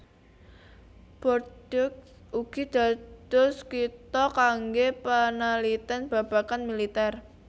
Bordeaux ugi dados kitha kanggé panalitén babagan militèr